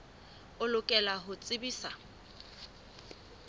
o lokela ho o tsebisa